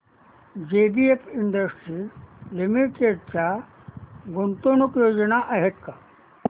JBF industries limited च्या गुंतवणूक योजना आहेत का